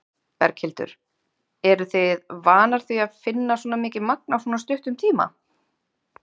Berghildur: Eruð þið vanar því að finna svona mikið magn á svona stuttum tíma?